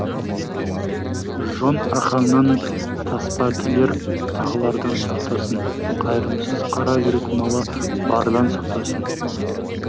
жон арқаңнан таспа тілер тағылардан сақтасын қайырымсыз қара жүрек малы бардан сақтасын